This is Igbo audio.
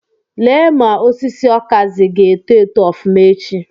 Lee ma osisi okazi ga-eto eto ofuma echi.